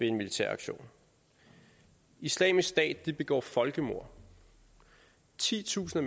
en militær aktion islamisk stat begår folkemord titusinder